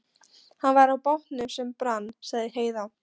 Hann var í bátnum sem brann, sagði Heiða.